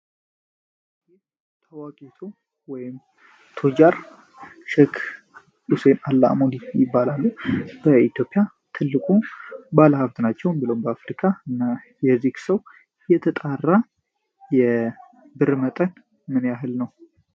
ይም ታዋቂቱ ቶጃር ሸክ ዑሴን አላዲን ይባላሉ። በኢትዮፒያ ትልቁ ባለ ሀፍት ናቸውን ብሎውን በአፍሪካ እና የዚክ ሰው የተጣራ የብርመጠን ምንያህል ነው